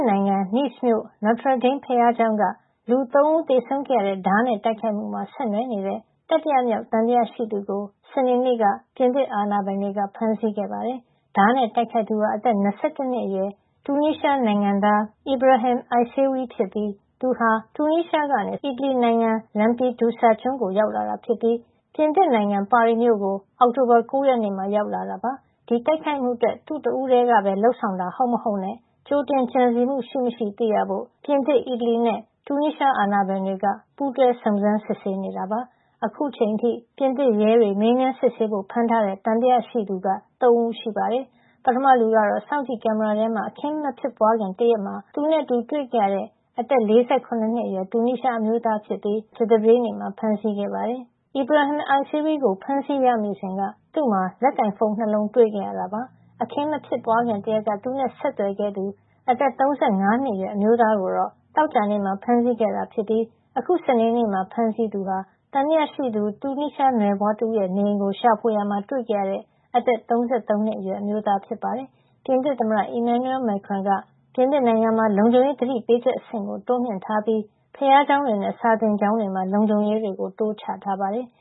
နိုင်ငံ Nice မြို့ Notre Dame က လူ ၃ ဦး သေဆုံးခဲ့ရတဲ့ ဓားနဲ့တိုက်ခိုက်မှုမှာ ဆက်နွှယ်နေတဲ့ တတိယမြောက် သံသယရှိသူကို စနေနေ့က ပြင်သစ်အာဏာပိုင်တွေ ဖမ်းဆီးခဲ့ပါတယ်။ ဓားနဲ့တိုက်ခိုက်သူဟာ အသက် ၂၁ နှစ်အရွယ် တူနီးရှားနိုင်ငံသား Ibrahim Issaoui ဖြစ်ပြီး သူဟာ တူနီးရှားကနေ စက်တင်ဘာ ၂၀ မှာ အီတလီနိုင်ငံ Lampedusa ကျွန်းကို ရောက်လာပြီး ပြင်သစ်နိုင်ငံ ပါရီမြို့ကို အောက်တိုဘာလ ၉ ရက်နေ့မှာ ရောက်ရှိလာတာ ဖြစ်ပါတယ်။ ဒီတိုက်ခိုက်မှုအတွက် သူ့တဦးတည်းကပဲ လုပ်ဆောင်တာ ဟုတ်မဟုတ်နဲ့ ကြိုတင်ကြံစည်မှု ရှိမရှိကို သိရဖို့ ပြင်သစ်၊ အီတလီနဲ့ တူနီးရှား အာဏာပိုင်တွေက ပူးတွဲ စုံစမ်းစစ်ဆေးနေတာပါ။ အခုချိန်အထိ ပြင်သစ်ရဲတွေ မေးမြန်းစစ်ဆေးဖို့ ဖမ်းထားတဲ့ သံသယရှိသူ ၃ ဦး ရှိပါတယ်။ ပထမလူကတော့ စောင့်ကြည့်ကင်မရာထဲမှာ အခင်းမဖြစ်ပွားခင် တရက်မှာ သူနဲ့အတူ တွေ့ခဲ့ရတဲ့ အသက် ၄၇ နှစ်အရွယ် တူနီးရှားအမျိုးသားဖြစ်ပြီး သူ့ကို ရဲက ကြာသပတေးနေ့မှာ ဖမ်းဆီးခဲ့ပါတယ်။ Ibrahim Issaoui ကို ဖမ်းဆီးရမိစဉ်က သူ့မှာ လက်ကိုင်ဖုန်း ၂ လုံး တွေ့ခဲ့ရတာပါ။ အခင်းမဖြစ်ပွားခင် တရက်က သူနဲ့ဆက်သွယ်ခဲ့သူ အသက် ၃၅ နှစ်အရွယ် အမျိုးသားကိုတော့ သောကြာနေ့မှာ ဖမ်းဆီးခဲ့တာဖြစ်ပြီး အခု စနေနေ့မှာ ဖမ်းဆီးခဲ့သူကတော့ သံသယရှိသူ တူနီးရှားနွယ်ဖွားတဦးရဲ့ နေအိမ်ကို ရှာဖွေရာမှာ တွေ့ခဲ့ရတဲ့ အသက် ၃၃ နှစ်အရွယ် အမျိုးသား ဖြစ်ပါတယ်။ ပြင်သစ်သမ္မတ Emmanuel Macron ကတော့ ပြင်သစ်နိုင်ငံမှာ လုံခြုံရေးသတိပေးချက် အဆင့်ကို အမြင့်ဆုံးအဖြစ် တိုးမြှင့်ထားပြီး ဘုရားကျောင်းတွေနဲ့ စာသင်ကျောင်းတွေမှာ လုံခြုံရေးတွေ တိုးချထားပါတယ်။